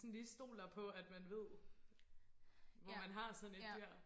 sådan lige stoler på at man ved hvor man har sådan et dyr